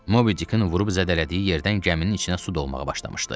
Mobidikin vurub zədələdiyi yerdən gəminin içinə su dolmağa başlamışdı.